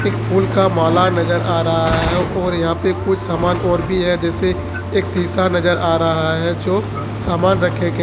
फूल का माला नजर आ रहा है और यहां पे कुछ सामान और भी है जैसे एक शीशा नजर आ रहा है जो सामान रखे गए--